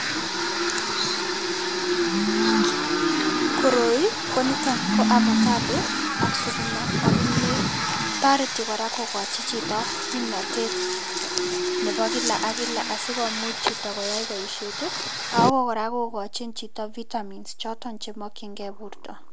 Koroi koniton ko avocado ak sukuma ak kimiet. Toreti kora kokochi chito kimnotet nebo kila ak kila asikomuch chito koyai boisiet ii ako kora kokochin chito vitamins choton chemokyingei borto.